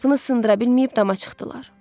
Qapını sındıra bilməyib dama çıxdılar.